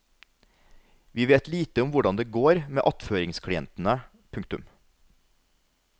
Vi vet lite om hvordan det går med attføringsklientene. punktum